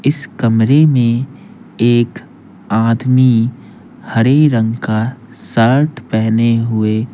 इस कमरे में एक आदमी हरे रंग का शर्ट पहने हुए --